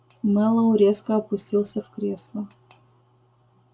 мэллоу резко опустился в кресло